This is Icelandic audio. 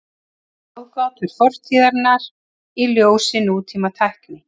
Ráðgátur fortíðarinnar í ljósi nútímatækni.